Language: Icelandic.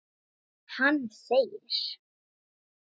Hann segir: